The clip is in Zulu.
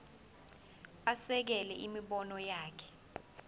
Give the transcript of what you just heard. asekele imibono yakhe